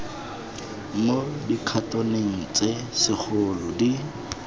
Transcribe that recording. mo dikhatoneng tse segolo di